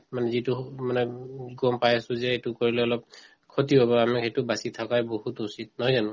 মানে যিটো মানে উম গম পাই আছো যে এইটো কৰিলে অলপ ক্ষতি হব আমি সেইটো বাচি থকাই বহুত উচিত নহয় জানো